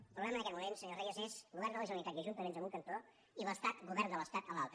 el problema en aquest moment senyor reyes és govern de la generalitat i ajuntaments a un cantó i l’estat govern de l’estat a l’altre